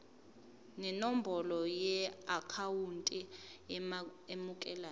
nenombolo yeakhawunti emukelayo